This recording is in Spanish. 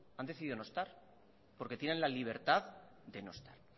han decidido no estar porque tienen la libertad de no estar